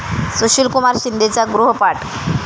सुशीलकुमार शिंदेंचा 'गृह'पाठ!